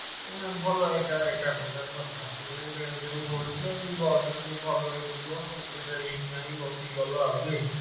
ଆରେ ଭଲ ଏକା ଏକା ପ୍ରକାର କଥା ଏବେ ବସରେ ଟିକେ ଭଲ ହେଇ ଯିବୁ ଆଉ ଏତେ risk ନାଇ ବସିକି ଗଲୁ ଆଉ।